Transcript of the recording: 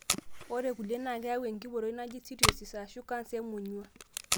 ore ilkulie na keyau engiporoi. naaji cirrhosis, ashu canser emonyua.